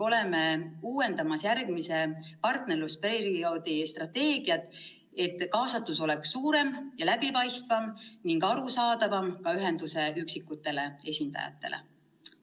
Uuendame ka järgmise partnerlusperioodi strateegiat, et kaasatus oleks suurem ja läbipaistvam ning arusaadavam ka ühenduse üksikutele esindajatele.